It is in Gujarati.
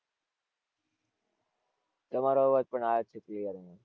તમારો અવાજ પણ આવે છે clear